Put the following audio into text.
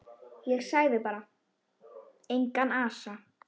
Og sagði bara: Engan asa.